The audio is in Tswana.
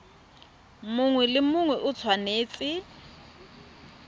mongwe le mongwe o tshwanetse